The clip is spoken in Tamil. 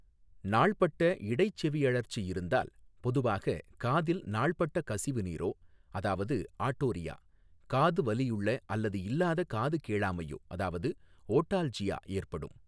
நாள்பட்ட இடைச்செவியழற்சி இருந்தால் பொதுவாக காதில் நாள்பட்ட கசிவுநீரோ அதாவது ஆடோரியா, காது வலியுள்ள அல்லது இல்லாத காது கேளாமையோ அதாவது ஓடால்ஜியா ஏற்படும்.